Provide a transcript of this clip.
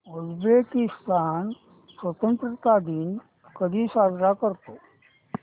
Uzbekistan स्वतंत्रता दिन कधी साजरा करतो